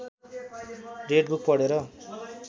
red book पढेर